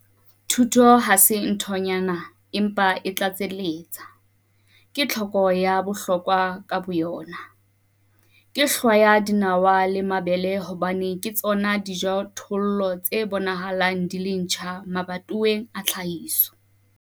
Thuto ha se nthonyana empa e tlatselletsa, ke tlhoko ya bohlokwa ka boyona. Ke hlwaya dinawa le mabele hobane ke tsona dijothollo tse bonahalang di le ntjha mabatoweng a tlhahiso.